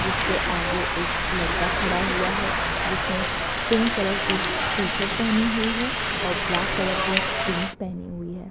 जिसके आगे एक लड़का खड़ा हुआ है जिसने पिंक कलर की टी-शर्ट पहनी हुई है और ब्लैक कलर की जीन्स पहनी हुई है।